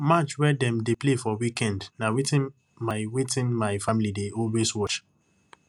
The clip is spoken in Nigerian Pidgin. match wey dem dey play for weekend na wetin my wetin my family dey always watch